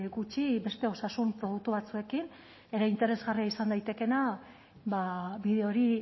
gutxi beste osasun produktu batzuekin ere interesgarria izan daitekeena bide hori